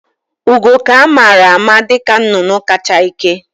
Ugo ka amara ama dịka nnụnụ ka cha ike